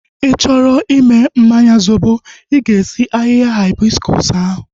Ị chọrọ i mee mmanya zobo, i ga-esi ahịhịa haibiskus ahu